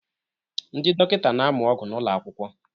Ndị dọkịta na-amụ ọgwụ n'ụlọ akwụkwọ